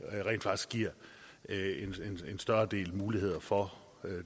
det rent faktisk giver en større del mulighed for